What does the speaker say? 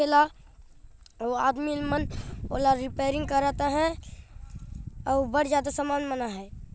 एला ओ आदमी मन ओला रिपेयरिंग करत आहाय आऊ बड ज्यादा सामान मन आहाय |